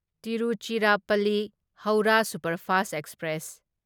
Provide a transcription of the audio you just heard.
Tiruchirappalli Howrah superfast express